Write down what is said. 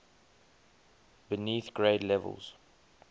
beneath grade levels